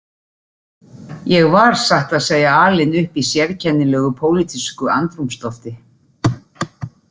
Ég var satt að segja alinn upp í sérkennilegu pólitísku andrúmslofti